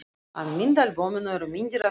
Í myndaalbúminu eru myndir af þeim í tjaldi.